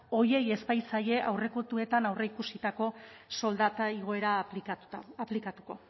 horiei ez baitzaie aurrekontuetan aurreikusitako soldata igoera aplikatuko